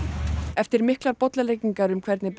eftir miklar bollaleggingar um hvernig